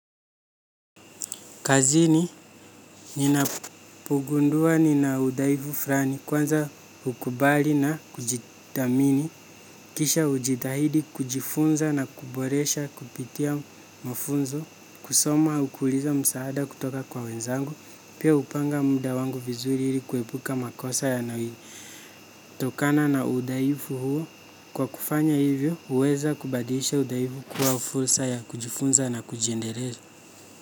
Kazini, ninapogundua nina udhaifu fulani kwanza hukubali na kujithamini, kisha hujitahidi kujifunza na kuboresha kupitia mafunzo, kusoma ukiuliza msaada kutoka kwa wenzangu, pia hupanga muda wangu vizuri hili kuepuka makosa. Tokana na udhaifu huo, kwa kufanya hivyo, huweza kubadilisha udhaifu kuwa fursa ya kujifunza na kujiendeleza.